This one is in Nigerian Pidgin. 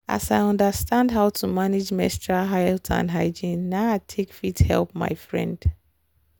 as i understand how to manage menstrual health and hygiene na i take fit help my friend.